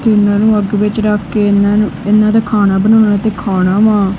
ਇਹਨਾਂ ਨੂੰ ਅੱਗ ਵਿੱਚ ਰੱਖ ਕੇ ਇਹਨਾਂ ਨੂੰ ਇਹਨਾਂ ਤੇ ਖਾਣਾ ਬਣਾਉਣਾ ਤੇ ਖਾਣਾ ਵਾਂ।